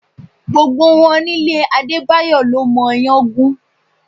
Gbogbo wọn nílé Adebayo ló mọ iyán gún.